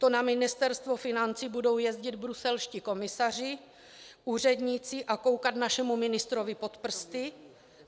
To na Ministerstvo financí budou jezdit bruselští komisaři, úředníci a koukat našemu ministrovi pod prsty?